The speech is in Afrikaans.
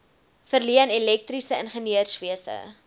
verleen elektriese ingenieurswese